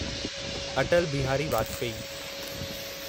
Atal Bihari Vajpayee